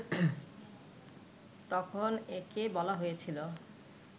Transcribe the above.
তখন একে বলা হয়েছিল